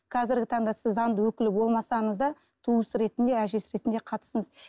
қазіргі таңда сіз заңды өкіл болмасаңыз да туыс ретінде әжесі ретінде қатысыңыз